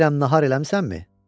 Deyirəm nahar eləmisənmi?